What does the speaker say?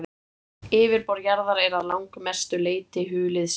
yfirborð jarðar er að langmestu leyti hulið setlögum